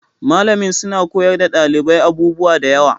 Malamin suna koyar da ɗalibai abubuwa da yawa